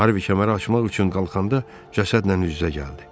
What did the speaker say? Harvi kəməri açmaq üçün qalxanda cəsədlə üz-üzə gəldi.